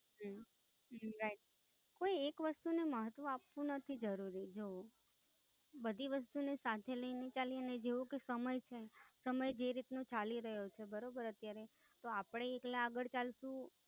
હમ Right કોઈ એક વસ્તુ ને મહત્વ આપવું નથી જરૂરી જો બધી વસ્તુ ને સાથે લઈને ચાલીએ ને જેવો કે સમય છે સમય જે રીત નો સમય છે બરોબર અત્યારે તો અપને એકલા આગળ ચાલશું